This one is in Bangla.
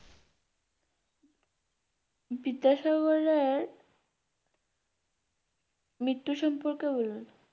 বিদ্যাসাগরের মৃত্যু সম্পর্কে বল।